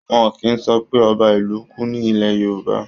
Wọ́n kìí sọ pé ọba ìlú kú ní ilẹ̀ Yorùbá